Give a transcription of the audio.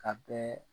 Ka bɛɛ